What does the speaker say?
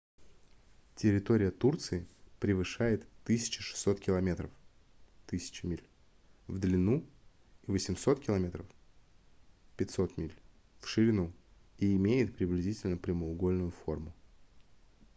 территория турции превышает 1 600 километров 1 000 миль в длину и 800 км 500 миль в ширину и имеет приблизительно прямоугольную форму